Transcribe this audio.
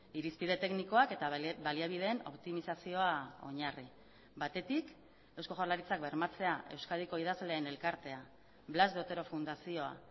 irizpide teknikoak eta baliabideen optimizazioa oinarri batetik eusko jaurlaritzak bermatzea euskadiko idazleen elkartea blas de otero fundazioa